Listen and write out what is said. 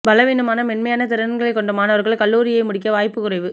பலவீனமான மென்மையான திறன்களை கொண்ட மாணவர்கள் கல்லூரியை முடிக்க வாய்ப்பு குறைவு